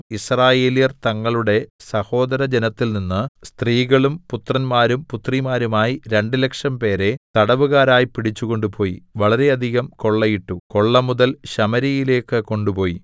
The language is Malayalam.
യിസ്രായേല്യർ തങ്ങളുടെ സഹോദര ജനത്തിൽനിന്ന് സ്ത്രീകളും പുത്രന്മാരും പുത്രിമാരുമായി രണ്ടുലക്ഷം പേരെ തടവുകാരായി പിടിച്ചു കൊണ്ടുപോയി വളരെയധികം കൊള്ളയിട്ടു കൊള്ളമുതൽ ശമര്യയിലേക്ക് കൊണ്ടുപോയി